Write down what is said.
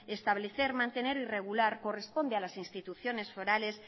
establecer mantener y regular corresponde a las instituciones forales